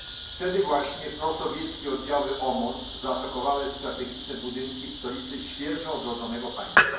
Wtedy właśnie prosowieckie odziały OMON u zaatakowały strategiczne budynki w stolicy świeżo odrodzonego państwa.